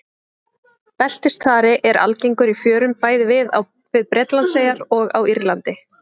Beltisþari er algengur í fjörum bæði við Bretlandseyjar og á Írlandi.